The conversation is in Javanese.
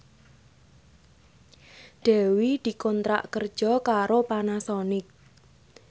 Dewi dikontrak kerja karo Panasonic